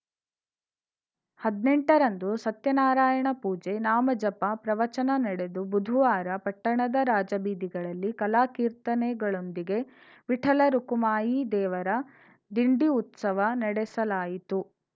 ಹದ್ನೆಂಟ ರಂದು ಸತ್ಯನಾರಾಯಣ ಪೂಜೆ ನಾಮ ಜಪ ಪ್ರವಚನ ನಡೆದು ಬುಧುವಾರ ಪಟ್ಟಣದ ರಾಜಬೀದಿಗಳಲ್ಲಿ ಕಲಾ ಕೀರ್ತನೆಗಳೊಂದಿಗೆ ವಿಠಲ ರುಕುಮಾಯಿ ದೇವರ ದಿಂಡಿ ಉತ್ಸವ ನಡೆಸಲಾಯಿತು